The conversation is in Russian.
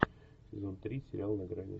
сезон три сериал на грани